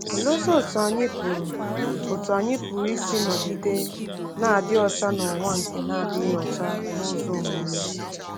Oleezi otú anyị pụrụ otú anyị pụrụ isi nọgide na-adị ọcha n’ụwa nke na-adịghị ọcha n’ụzọ omume?